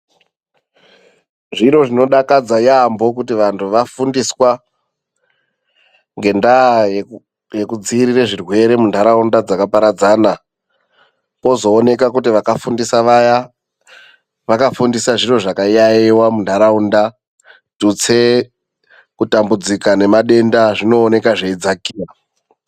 Zviro zvinodakadza yambo kuti vantu vafundiswa ngendaa yekudziirira zvirwerwe muntaraunda dzakaparadzana kozowonekwa kuti vakafundisa vaya ,vakafundisa zviro zvakayayeyewa mundaraunda .Tutsee ,kutambudzika nemadenda zvinowoneka zveyidzakira.